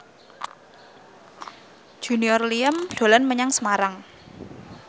Junior Liem dolan menyang Semarang